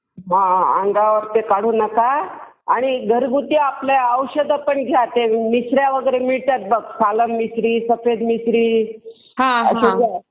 हां. अन्गावरती काढू नका. आणि घरगुती आपली औषधं पण घ्या. ते मिशऱ्या वगैरे मिळतात बघ. सफेद मिश्री वगैरे.